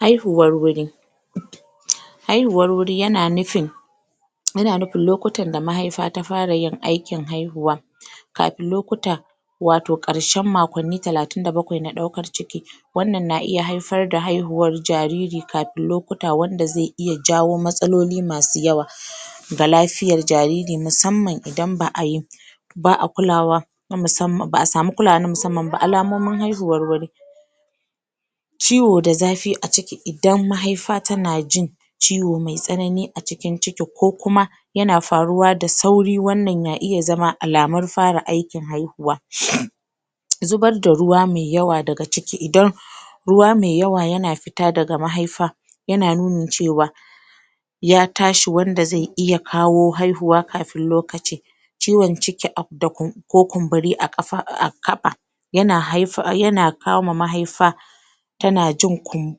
Haihuwa wuri haihuwar wuri yana nufin yana nufin lokotan da mahaifa ta fara yin aikin kafin lokuta wato karshen makkonni talatin da bakwai na daukar ciki wannan na iya haifar da haihuwar jariri kafin lokuta wanda zai iya jawo matsaloli daban daban ga lafiyan jariri musamman idan ba'ayi ba'a kulawa na musamman, ba'a sama kula ma mussaman ba, alamomin haihuwa wuri ciwo da zafi idan zafi a ciki idan mahaifa tana ciwo mai tsanani a cikin ciki kukuma yana faruwa da sauri, wannan na iya zama alamun farin aikin haihuwa zubar da ruwa mai yawa daga ciki 0 ruwa mai yawa yana fita daga mahaifa yana nunin cewa ya tashi, wanda zai iya kawo haihuwa kafin lokacin ciwon ciki ko kumburi a kafa ah ah kafa yanan kama mahaifa yan ajin kum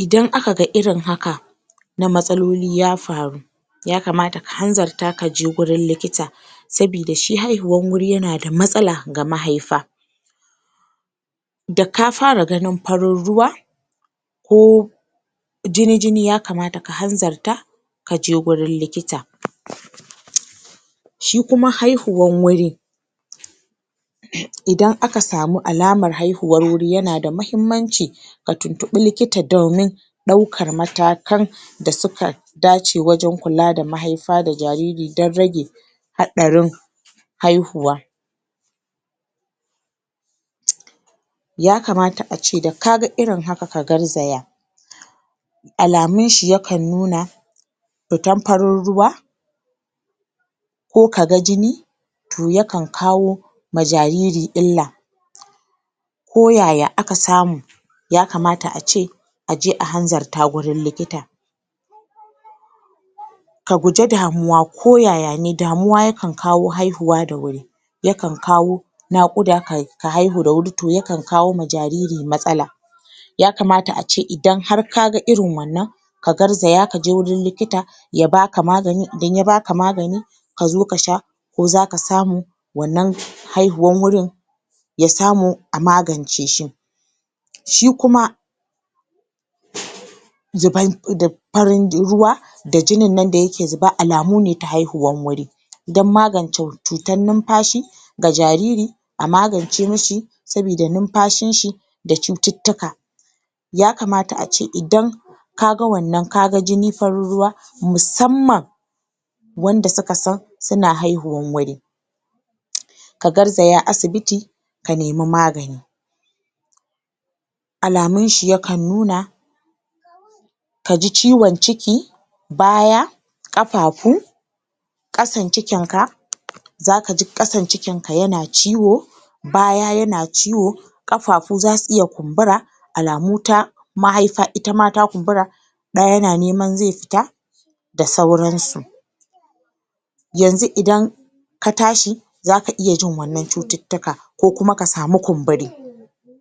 [/] idan aka ga irin haka na matsaloli ya faru ya kamata ta hanzarta kaje wajen likita sabida shi haihuwan wuri yana da matsala ga mahaifa daka fara ganin farin ruwa Ooooh jini jini ya kamata ka hanzarta kaje wuin likita shi kuma haihuwan wuri idan aka samu alaman haihuwar wuri, yana da muhimmanaci a tuntubi likita doimin daukar matakan da suka dace waje kula da mahaifa da jarir dan rage haɗarin haihuwa ya kamata ace daka ga irin haka ka garzaya alamun shi ya kan nuna fita farin ruwa ko kaga jini to, yakan kawo ma jariri illa ko yaya aka samu ya kamata ace a je ahanzarta wajen likita ka guje damuwa ko yaya ne, damuwa yana kawo haihuwa da wuri ya kan kawo nakuda ka haihu ta wuri, to ya kan kawo ma jariri matsala ya kamata ace idan har kaga irin wannan ka garzaya kajw wurin likita ya baka magani, idan ya baka magani kazo ka sha ko zaka samu wannan haihuwan wurin ya samu a magance shi shi kuma zubar.. jin.. em farin ruwa da jinin nan da yake zuba, alamo ne ta haihuwan wuri dan magance cutar numfashi ga jariri a magance mishi sabida numfashin shi da cuttuka ya kamata ace kaga wannan kaga farin ruwa musamman wanda su ka san suna haihuwan wuri ka garzaya asibiti ka nemi magani alamun shi yakan nuna kaji ciwon ciki baya kafafu kasan cikinka zaka shi kasan cikinka yana ciwo baya yana ciwo kafafu zasu iya kumbura alamu ta mahaifa itama ya fara kumbura ɗa yana nema zai fita da sauransu yanzu idan ka tashi zaka iya jin wannan cuttuka ko ka samu kumburi